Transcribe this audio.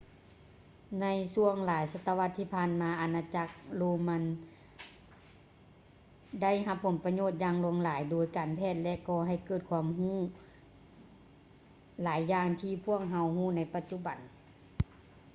ໃນຊ່ວງຫລາຍສະຕະວັດທີ່ຜ່ານມາ ອານາຈັກໂຣມັນໄດຮັບປະໂຫຍດຢ່າງຫຼາຍທາງດ້ານການແພດ ແລະ ກໍໃຫ້ເກີດຄວາມຮູ້ຫຼາຍຢ່າງທີ່ພວກເຮົາຮູ້ໃນປະຈຸບັນ